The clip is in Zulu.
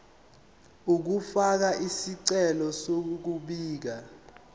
ukufaka isicelo sokubika